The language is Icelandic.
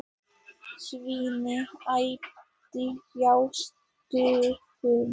Svenni æpti hástöfum.